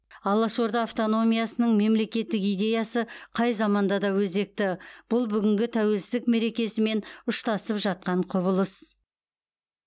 алаш орда автономиясының мемлекеттік идеясы қай заманда да өзекті бұл бүгінгі тәуелсіздік мерекесімен ұштасып жатқан құбылыс